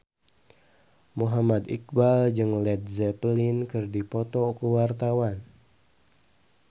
Muhammad Iqbal jeung Led Zeppelin keur dipoto ku wartawan